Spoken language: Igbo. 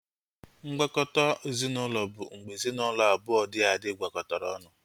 Ngwakọta ezinaụlọ bụ mgbe ezinaụlọ abụọ dị adị gwakọtara ọnụ